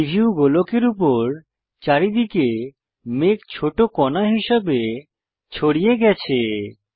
preview গোলকের উপর চারিদিকে মেঘ ছোট কনা হিসাবে ছড়িয়ে গেছে